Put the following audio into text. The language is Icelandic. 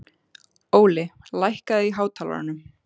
Óli, lækkaðu í hátalaranum.